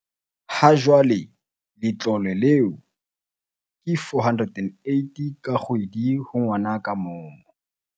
Ha jwale letlole leo ke R480 ka kgwedi ho ngwana ka mong.